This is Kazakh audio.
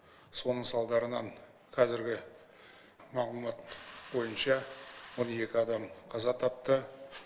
соның салдарынан қазіргі мағлұмат бойынша он екі адам қаза тапты